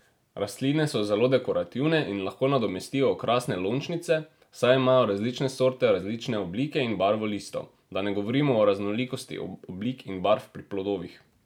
Rastline so zelo dekorativne in lahko nadomestijo okrasne lončnice, saj imajo različne sorte različne oblike in barvo listov, da ne govorimo o raznolikosti oblik in barv pri plodovih!